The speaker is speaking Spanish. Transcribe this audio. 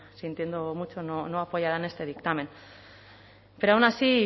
sintiéndolo mucho no apoyarán este dictamen pero aun así y